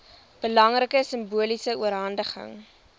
belangrike simboliese oorhandiging